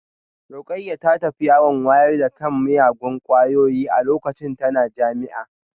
Rukayyah ta tafi yawon wayar da kan miyagun kwayoyi a lokacin tana jami'a